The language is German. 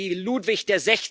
Warum nur? Weil wir wie